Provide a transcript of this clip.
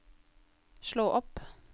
slå opp